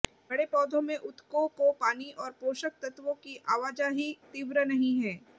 बड़े पौधों में ऊतकों को पानी और पोषक तत्वों की आवाजाही तीव्र नहीं है